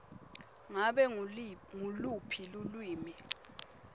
ngabe nguluphi lulwimi